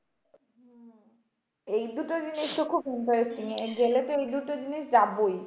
এই দুটো জিনিসতো খুব interesting গেলে এই দুটো জিনিস যাবোই।